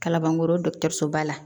Kalabankoro ba la